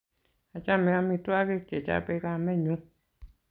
achame amitwogik che chapei kamenyu